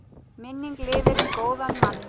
Minning lifir um góðan mann.